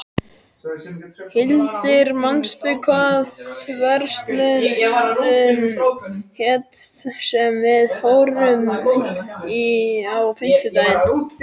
Hildir, manstu hvað verslunin hét sem við fórum í á fimmtudaginn?